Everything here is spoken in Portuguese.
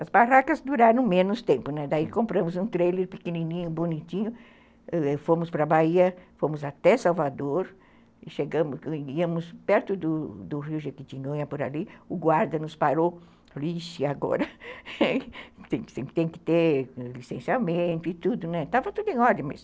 As barracas duraram menos tempo, daí compramos um trailer pequenininho, bonitinho, fomos para a Bahia, fomos até Salvador, chegamos, íamos perto do do Rio Jequitinhonha, por ali, o guarda nos parou, disse, agora sempre tem que ter licenciamento e tudo, estava tudo em ordem,